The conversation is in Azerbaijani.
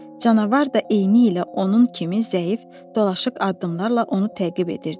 Canavar da eynilə onun kimi zəif, dolaşıq addımlarla onu təqib edirdi.